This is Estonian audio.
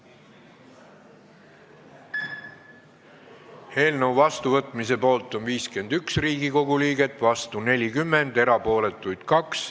Hääletustulemused Eelnõu seadusena vastuvõtmise poolt on 51 Riigikogu liiget, vastu on 40, erapooletuks jäi 2.